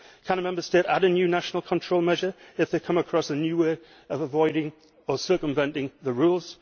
Can a Member State add a new national control measure if they come across a new way of avoiding or circumventing the rules?